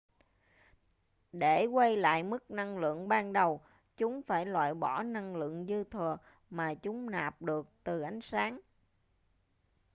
để quay lại mức năng lượng ban đầu chúng phải loại bỏ năng lượng dư thừa mà chúng nạp được từ ánh sáng